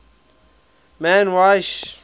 man y sh